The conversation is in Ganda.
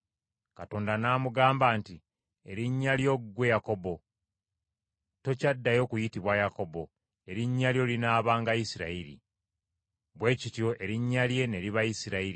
Katonda n’amugamba nti, “Erinnya lyo ggwe Yakobo; tokyaddayo kuyitibwa Yakobo, erinnya lyo linaabanga Isirayiri.” Bwe kityo erinnya lye ne liba Isirayiri.